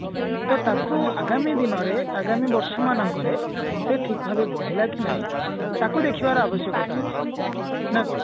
ତ ତାକୁ ଆଗାମୀ ଦିନରେ ଆଗାମୀ ବର୍ଷ ମାନଙ୍କରେ ସେ ଠିକ ଭାବରେ ବଢିଲା କି ନାଇଁ ତାକୁ ଦେଖିବାର ଆବଶ୍ୟକତା ଅଛି ନା କଣ